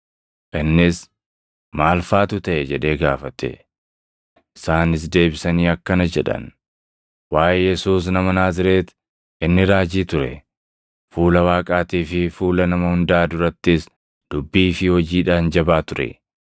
Innis, “Maal faatu taʼe?” jedhee gaafate. Isaanis deebisanii akkana jedhan, “Waaʼee Yesuus nama Naazreeti; inni raajii ture; fuula Waaqaatii fi fuula nama hundaa durattis dubbii fi hojiidhaan jabaa ture.